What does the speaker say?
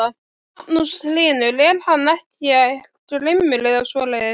Magnús Hlynur: Er hann ekkert grimmur eða svoleiðis?